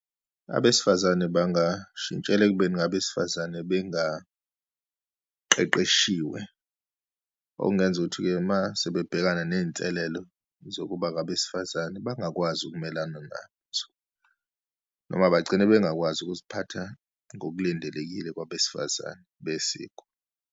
Abesifazane bangashintshela ekubeni ngabesifazane bengaqeqeshiwe, okungenza ukuthi-ke uma sebebhekana neyinselelo zokuba ngabesifazane, bangakwazi ukumelana nazo, noma bagcine bengakwazi ukuziphatha ngokulindelekile kwabesifazane besiko.